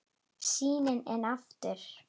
Sýnin enn og aftur.